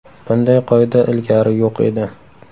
Bunday qoida ilgari yo‘q edi.